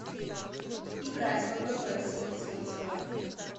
играть в апп цвцвцв